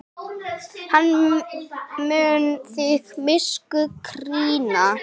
Hann mun þig miskunn krýna.